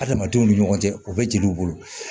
Adamadenw ni ɲɔgɔn cɛ u bɛ jeliw bolo